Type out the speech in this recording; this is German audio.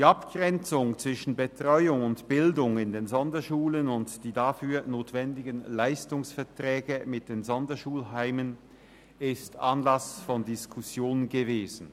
Die Abgrenzung zwischen Betreuung und Bildung in den Sonderschulen und die dafür notwendigen Leistungsverträge mit den Sonderschulheimen waren Anlass von Diskussionen.